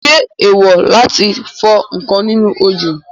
Ṣé èèwò láti fọ ǹkan nínú òjò?